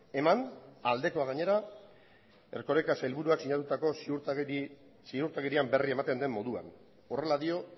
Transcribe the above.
eman aldekoa gainera erkoreka sailburuak sinatutako ziurtagirian berri ematen den moduan horrela dio